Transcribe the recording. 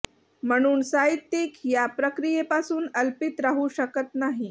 म्हणून साहित्यिक ह्या प्रक्रियेपासून अलिप्त राहू शकत नाही